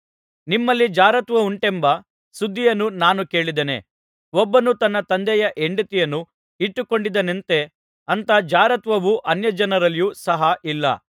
ನಿಮ್ಮಲ್ಲಿ ಜಾರತ್ವವುಂಟೆಂಬ ಸುದ್ದಿಯನ್ನು ನಾನು ಕೇಳಿದ್ದೇನೆ ಒಬ್ಬನು ತನ್ನ ತಂದೆಯ ಹೆಂಡತಿಯನ್ನು ಇಟ್ಟುಕೊಂಡಿದ್ದಾನಂತೆ ಅಂಥ ಜಾರತ್ವವು ಅನ್ಯಜನರಲ್ಲಿಯೂ ಸಹ ಇಲ್ಲ